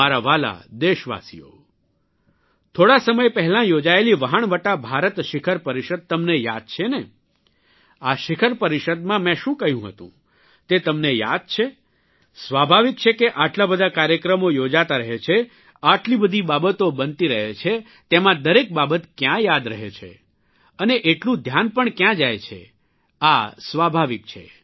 મારા વ્હાલા દેશવાસીઓ થોડા સમય પહેલાં યોજાયેલી વહાણવટા ભારત શિખર પરિષદ તમને યાદ છે ને આ શિખર પરિષદમાં મેં શું કહ્યું હતું તે તમને યાદ છે સ્વાભાવિક છે આટલા બધા કાર્યક્રમો યોજાતા રહે છે આટલી બધી બાબતો બનતી રહે છે તેમાં દરેક બાબત ક્યાં યાદ રહે છે અને એટલું ધ્યાન પણ કયાં જાય છે આ સ્વાભાવિક છે